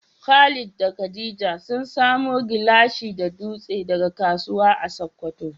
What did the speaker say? Khalid da Khadija sun samo gilashi da dutse daga kasuwa a Sokoto.